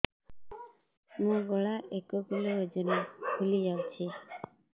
ମୋ ଗଳା ଏକ କିଲୋ ଓଜନ ଫୁଲି ଯାଉଛି